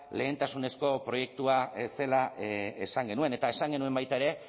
lehentasunezko proiektua ez zela esan genuen eta esan genuen baita ere